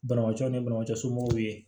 Banabatɔ ni banabagatɔ somɔgɔw ye